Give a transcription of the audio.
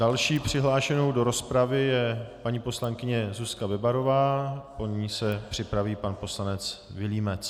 Další přihlášenou do rozpravy je paní poslankyně Zuzka Bebarová, po ní se připraví pan poslanec Vilímec.